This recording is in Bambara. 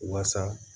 Waasa